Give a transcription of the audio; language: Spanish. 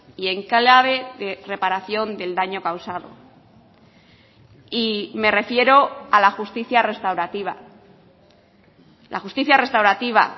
y en clave de reparación del daño causado y me refiero a la justicia restaurativa la justicia restaurativa